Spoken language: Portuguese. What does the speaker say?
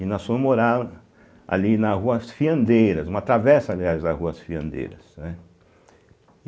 E nós fomos morar ali na rua As Fiandeiras, uma travessa, aliás, da rua As Fiandeiras, né.